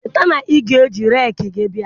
Cheta na ị ga-eji rekii bịa oo!